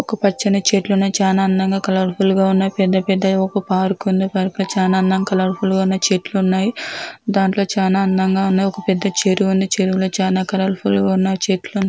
ఒక పచ్చని చెట్లు ఉన్నాయ్ చానా అందంగా కలర్ఫుల్గా ఉన్నాయ్ పెద్ద పెద్దవి ఒక పార్క్ ఉంది పర్కు చానా అందం కలర్ఫుల్గా ఉన్న చెట్లున్నాయ్ దాంట్లో చానా అందంగా ఉన్నాయ్ ఒక పెద్ద చెరువుంది చెరువులో చానా కలర్ఫుల్గా ఉన్నాయ్ చెట్లు.